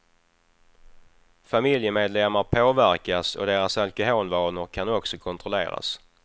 Familjemedlemmar påverkas och deras alkoholvanor kan också kontrolleras.